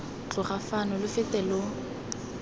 tloga fano lo fete lo